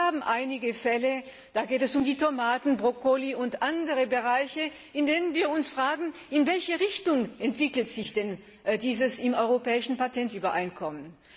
Und wir haben einige Fälle, da geht es um Tomaten, Brokkoli und andere Bereiche, in den wir uns fragen, in welche Richtung entwickelt sich denn dieses im Europäischen Patentübereinkommen.